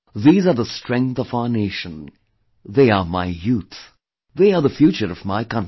These are the strength of our nation, they are my youth, they are the future of my country